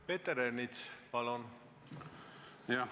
Peeter Ernits, palun!